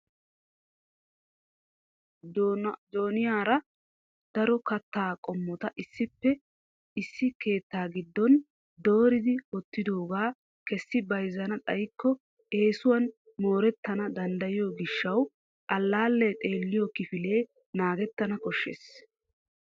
Jooniyaara daro katta qommota issippe issi keetta giddon dooridi wottidoogaa kessi bayzzichana xaykko eessuwan mooretana danddayiyo gishshaw allaale xeelliyo kifile naagetana koshshees.